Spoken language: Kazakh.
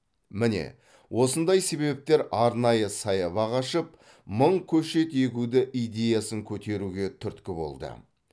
міне осындай себептер арнайы саябақ ашып мың көшет егуді идеясын көтеруге түрткі болды